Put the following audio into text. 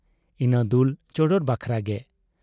ᱤᱱᱟᱹ ᱫᱩᱞ ᱪᱚᱰᱚᱨ ᱵᱟᱠᱷᱨᱟ ᱜᱮ ᱾